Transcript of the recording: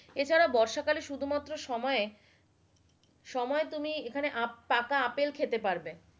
এছাড়া বর্ষা কালে শুধুমাত্র সময়ে সময়ে তুমি এখানে পাকা আপেল খেতে পারবে,